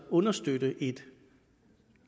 understøtte et